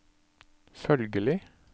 følgelig